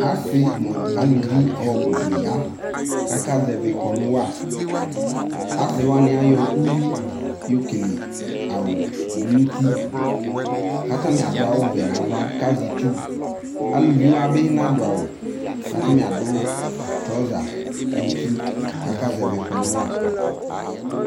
Ase no aluvi ɔbu de ya kaka zɛvi kɔnu wa Ase wanw ayɔ uwi yɔ kele awu do no uti, ko atame ado awuvɛ no ava ko azɛ itsu Uluviwa be nado awu ko atame ado trɔza no uti ko aka zavi kɔnu wa